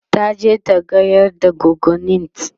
taje ta gayar da goggonint